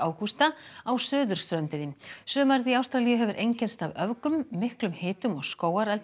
Augusta á suðurströndinni sumarið í Ástralíu hefur einkennst af öfgum miklum hitum og skógareldum